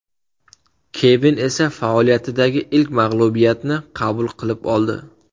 Kevin esa faoliyatidagi ilk mag‘lubiyatni qabul qilib oldi.